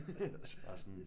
Altså bare sådan